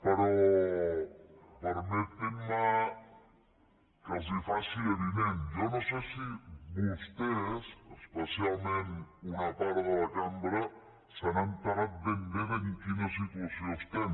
però permetin me que els faci avinent jo no sé si vostès especialment una part de la cambra se n’ha assabentat ben bé de en quina situació estem